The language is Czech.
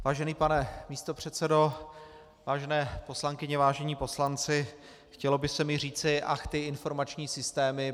Vážený pane místopředsedo, vážené poslankyně, vážení poslanci, chtělo by se mi říci ach, ty informační systémy.